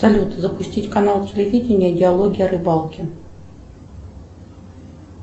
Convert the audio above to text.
салют запустить канал телевидения диалоги о рыбалке